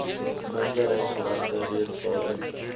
minderheidsregte reeds daarin